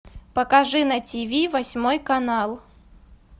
покажи на тв восьмой канал